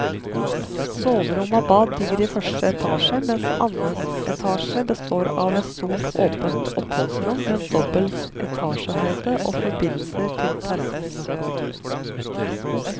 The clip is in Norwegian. Soverom og bad ligger i første etasje, mens annen etasje består av et stort åpent oppholdsrom med dobbel etasjehøyde og forbindelse til terrasse.